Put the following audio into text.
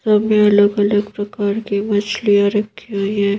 सभी अलग अलग प्रकार के मछलियां रखी हुई है।